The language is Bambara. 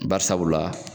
Bari sabula